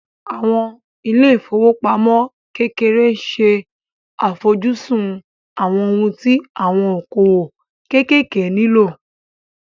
Àwọn ilé ìfowópamọ́ kékeré ṣe àfojúsùn àwọn ohun tí àwọn okòwò kéékèèké nílò